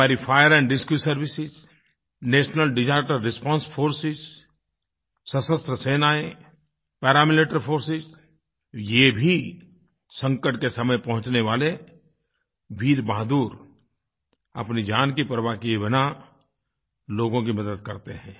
हमारी fire and rescue services national disaster response forces सशस्त्र सेनाएँ पैरामिलिटरी फोर्सेस ये भी संकट के समय पहुँचने वाले वीर बहादुर अपनी जान की परवाह किये बिना लोगों की मदद करते हैं